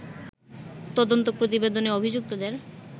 তদন্ত প্রতিবেদনে অভিযুক্তদের